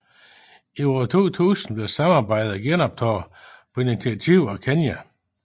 I år 2000 blev samarbejdet genoptaget på initiativ af Kenya